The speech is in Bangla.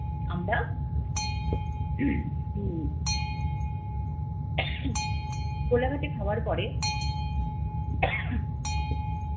আমরা হম কোলাঘাটে খাওয়ার পরে